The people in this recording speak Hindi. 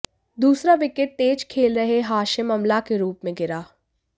दूसरा विकेट तेज खेल रहे हाशिम अमला के रूप में गिरा